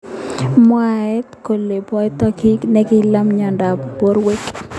Mwaat kele boto ki nekila mnyondo ab borwek.